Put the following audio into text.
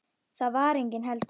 Þar var enginn heldur.